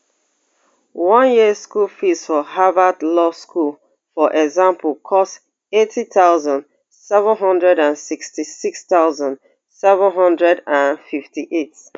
one year school fees for harvard law school for example costs eighty thousand, seven hundred and sixty sixty thousand, seven hundred and fifty-eight